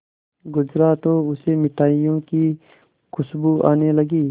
गुजरा तो उसे मिठाइयों की खुशबू आने लगी